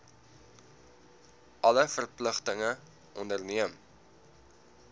alle verpligtinge onderneem